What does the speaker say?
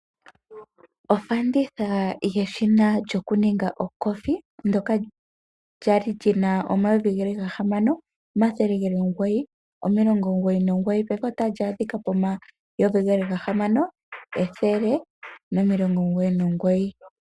Ofanditha yeshina lyokuninga okofi ndyoka lyali lyina N$6 999 payife otali adhika po N$6 199.